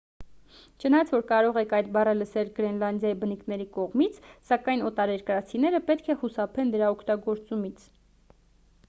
չնայած որ կարող եք այդ բառը լսել գրենլանդիայի բնիկների կողմից սակայն օտարերկրացիները պետք է խուսափեն դրա օգտագործումից